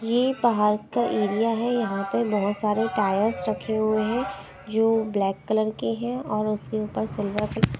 ये पहार का एरिया है यहां पर बहुत सारे टायर्स रखे हुए हैं जो ब्लैक कलर के हैं और उसके ऊपर सिल्वर --